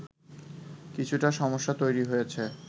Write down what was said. কিছুটা সমস্যা তৈরি হয়েছে